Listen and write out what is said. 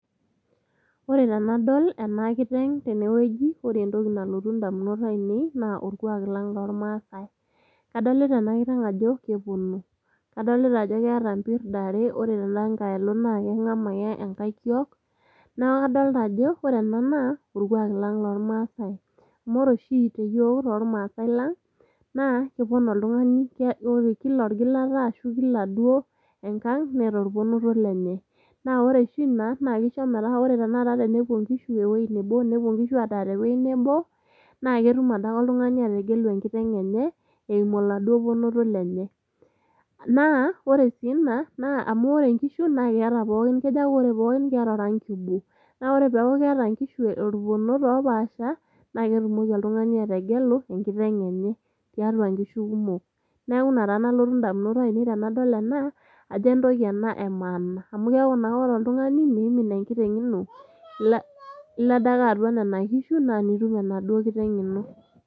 Ore tenadol ena kiteng tene wueji naa ore entoki nalotu indamunot ainei naa orkwak lang loormaasae . Kadolita ena kiteng ajo kepono, kadolita ajo keeta impirda are , ore tenda nkae alo naa kengama ake enkae kiok ,niaku kadolta ajo orkwaak lang loormaasae .Amu ore oshi iyiook tormaase lang naa kepon oltungani naa kila orgilata ashu kila duoo enkang neeta orponoto lenye. Naa ore oshi ina kisho metaa ore tenakata tenepuo inkishu ewuei nebo, nepuo inkishu adaa tewuei nebo , naa ketum adake oltungani ategelu enkiteng enye eimu oladuoo ponoto lenye. Naa ore sii ina amu ore inkishu naa keeta pookin ,keja aaku keeta pookin orangi obo. Na ore peaku keeta nkishu irponot oopaasha naa ketumoki oltungani ategelu enkiteng enye tiatua inkishu kumok. Niaku ina taa nalotu indamunot tenadol ena ajo entoki ena emaana amu keaku naa ore oltungani miimin enkiteng ino ila adake atua nena kishu naa nitum enaduoo kiteng ino.